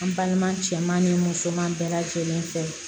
An balima cɛman ni musoman bɛɛ lajɛlen fɛ